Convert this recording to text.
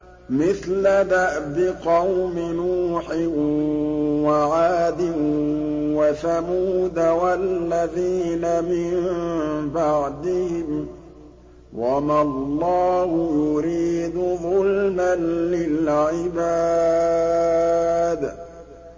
مِثْلَ دَأْبِ قَوْمِ نُوحٍ وَعَادٍ وَثَمُودَ وَالَّذِينَ مِن بَعْدِهِمْ ۚ وَمَا اللَّهُ يُرِيدُ ظُلْمًا لِّلْعِبَادِ